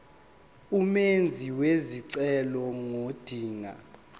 umenzi wesicelo ngodinga